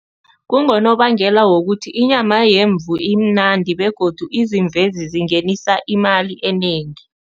Kungonobangela wokuthi inyama yemvu imnandi begodu izimvezi zingenisa imali enengi.